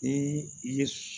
Ni i ye